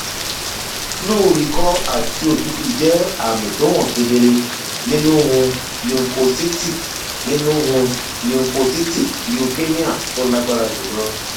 flu ikọ àti òtútù jẹ àmì tó hàn kedere nínú um lymphocytic nínú um lymphocytic leukemia tó lágbára jùlọ